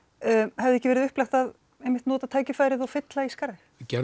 hefði ekki verið upplagt að nota tækifærið og fylla í skarðið